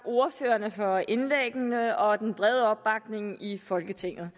ordførerne for indlæggene og den brede opbakning i folketinget